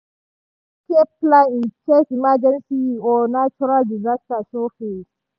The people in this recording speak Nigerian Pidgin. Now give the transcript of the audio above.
dem make escape plan in case emergency or natural disaster show face.